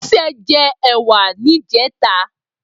Bose jè èwà nijètá